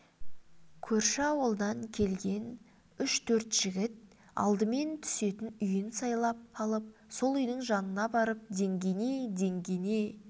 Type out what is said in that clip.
көрші ауылдан келген үш-төрт жігіт алдымен түсетін үйін сайлап алып сол үйдің жанына барып деңгене деңгене